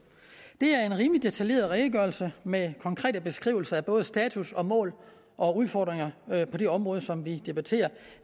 det er en rimelig detaljeret redegørelse med konkrete beskrivelser af både status og mål og udfordringer på det område som vi debatterer